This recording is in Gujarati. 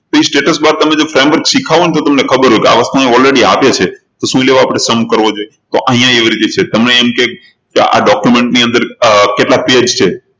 પછી status bar તમે framework શીખ્યા હોવ ને તો તમને ખબર હોય કે આ વસ્તુ already આવે છે તો શું લેવા આપણે sum કરવો જોઈએ તો અહિયાં એવી રીતે છે તમને એમ કહે કે આ document ની અંદર અર કેટલા page છે